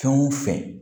Fɛn o fɛn